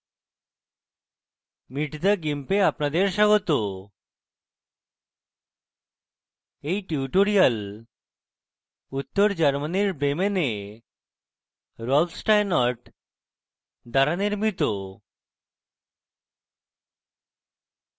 meet the gimp এ আপনাদের স্বাগত এই টিউটোরিয়াল উত্তর germany bremen rolf steinort দ্বারা নির্মিত